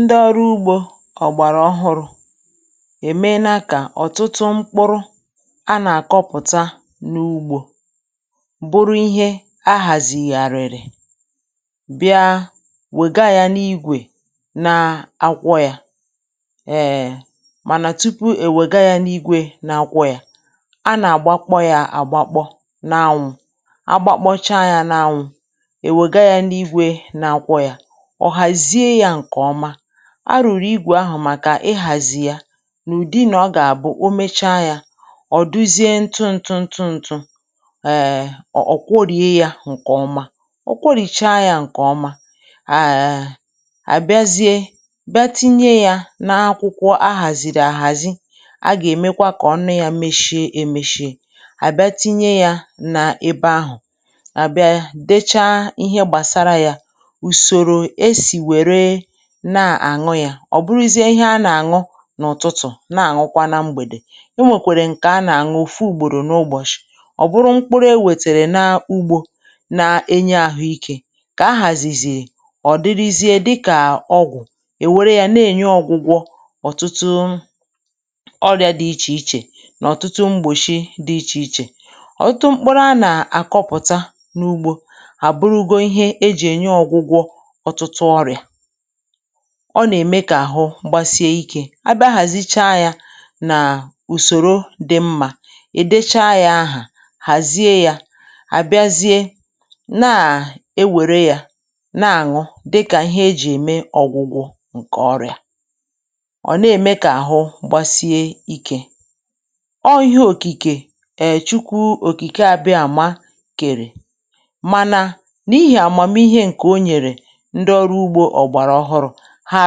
Ndị ọrụ ugbò ọhụrụ na-eme ka ọ̀tụtụ mkpụrụ ndị a na-akọ̀pụ̀tà n’ugbò bụrụ nke e haziri nke ọma, ka e wee were ya gaa n’otu n’igwè mee usoro ya. Mànà tupu e were ya gaa n’igwè mee usoro ya, e ji ya kpọ̀ n’anwụ̄, kpọ̀ n’anwụ̄. Mgbe e mechàrà kpọ̀ ya n’anwụ̄, e mezie ya nke ọma, ka mgbe e mere usoro ahụ n’igwè, ọ bụrụ nke rụzuru nke ọma. A na-akwọ̀ ya n’ụdị ntụ ntụ, ntụ ntụ, a na-akwọ̀cha ya nke ọma ruo mgbe ọ dịcha mma. Mgbe e mechàrà nke ahụ, a na-etinye ya n’ime akwụkwọ e haziri nke ọma, ma mechie ya kpamkpam. A na-edobe ya ebe ahụ, dee banyere ya, ma mee ka ọ dị njikere ka a ṅụọ ya. A na-aṅụ ya n’ụ̀tụtụ̀, a na-aṅụ ya n’ụ̀tụtụ̀, a na-aṅụkwa ya n’abalị. Ọ bụrụ na mkpụrụ ndị a sitere n’ugbò bụ ndị na-enye ahụ ike mgbe e kwàdòchàrà ha nke ọma, mgbe e mechàrà hazie ha nke ọma, ha na-abụ ọgwụ̀. Ha na-enye ọgwụgwọ n’ọ̀tụtụ ọrịa dị iche iche, n’ọ̀tụtụ ọrịa dị iche iche. Ọ̀tụtụ mkpụrụ ndị a na-akọ̀pụ̀tà n’ugbò na-eme ka ahụ́ sie ike. Mgbe e mechàrà hazie ha nke ọma, kpọ̀ọ̀ ha n’anwụ̄, kèe ha, e jiri ha mee ọgwụ̀ megide ọrịa, nke na-eme ka ahụ́ sie ike. Nke a bụ okike Chineke, okike Chineke, na ọ bụkwa amamihe o nyere. um Ndewo ndị ogbo. A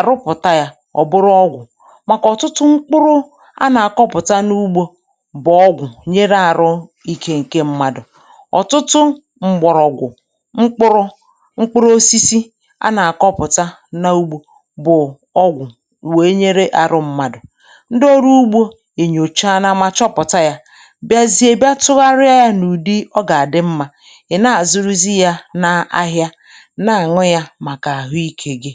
na-emepụta ya dịka ọgwụ̀, n’ihi na ọ̀tụtụ mkpụrụ ndị a na-ebupụta n’ugbò bụ ọgwụ̀ n’eziokwu. Ha na-eme ka ahụ́ mmadụ sie ike. Ọ̀tụtụ mkpụrụ osisi na mgbọrọgwụ ndị e ji bịa n’ugbò bụ ọgwụ̀, nke na-eme ka ahụ́ mmadụ dị mma. Ndewo ndị ogbo. Mgbe a nyọ̀chàrà ya ma chọpụta ya, a na-emegharị ya bụrụ ụdị dị mma, wee were ya ree n’ahịa. N’ụzọ dị otu a, ọ na-eme ka ahụ́ dịrị gị mma.